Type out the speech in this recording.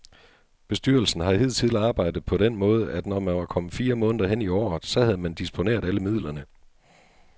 Bestyrelsen har hidtil arbejdet på den måde, at når man var kommet fire måneder hen i året, så havde man disponeret alle midlerne.